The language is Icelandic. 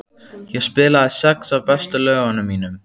Ég spilaði sex af bestu lögunum mínum.